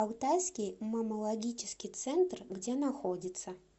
алтайский маммологический центр где находится